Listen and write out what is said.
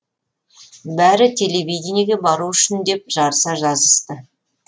бәрі телевидениеге бару үшін деп жарыса жазысты